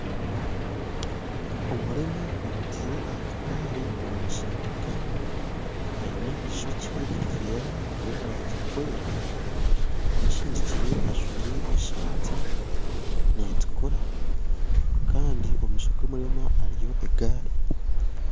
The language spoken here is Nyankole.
Omureema bamuteire ahakagari nibamusindika aine eishokye niryera riri omurangi erikwera amusindikire ajwaire esaati netukura Kandi omumaisho gomureema hariyo egaari